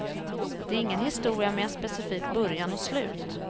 Det är ingen historia med en specifik början och slut.